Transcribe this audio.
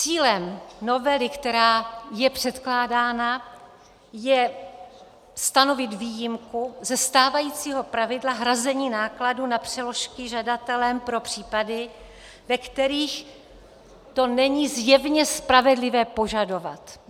Cílem novely, která je předkládána, je stanovit výjimku ze stávajícího pravidla hrazení nákladů na přeložky žadatelem pro případy, ve kterých to není zjevně spravedlivé požadovat.